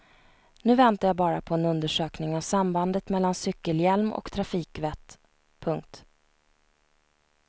Nu väntar jag bara på en undersökning av sambandet mellan cykelhjälm och trafikvett. punkt